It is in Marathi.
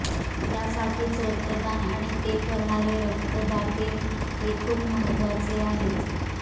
त्यासाठीच रक्तदान आणि ते करणारे रक्तदाते हे खूप महत्त्वाचे आहेत